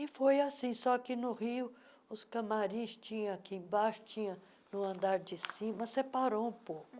E foi assim, só que no Rio os camarins tinha aqui embaixo, tinha no andar de cima, separou um pouco.